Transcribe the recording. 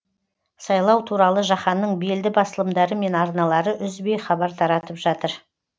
сайлау туралы жаһанның белді басылымдары мен арналары үзбей хабар таратып жатыр